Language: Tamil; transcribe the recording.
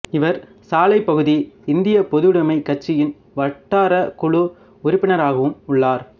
இவர் சாலைப் பகுதி இந்தியப் பொதுவுடமைக் கட்சியின் வட்டாரக் குழு உறுப்பினராகவும் உள்ளார்